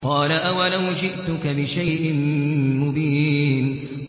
قَالَ أَوَلَوْ جِئْتُكَ بِشَيْءٍ مُّبِينٍ